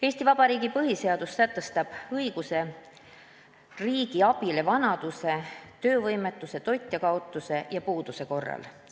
Eesti Vabariigi põhiseadus sätestab õiguse riigi abile vanaduse, töövõimetuse, toitjakaotuse ja puuduse korral.